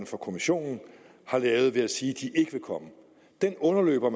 for kommissionen har lavet ved at sige at de ikke vil komme den underløber